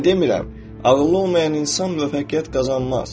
Mən demirəm, ağıllı olmayan insan müvəffəqiyyət qazanmaz.